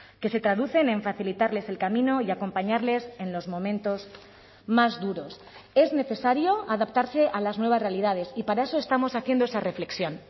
que se traducen en facilitarles el camino y acompañarles en los momentos más duros es necesario adaptarse a las nuevas realidades y para eso estamos haciendo esa reflexión